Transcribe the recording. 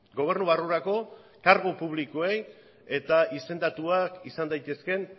gobernu barrurako kargu publikoei eta izendatuak izan daitezkeen